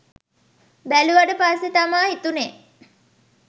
බැලුවට පස්සෙ තමා හිතුනෙ